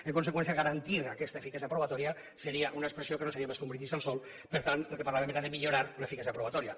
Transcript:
en conseqüència garantir aquesta eficàcia probatòria seria una expressió que no seria més que un brindis al sol per tant del que parlàvem era de millorar l’eficàcia probatòria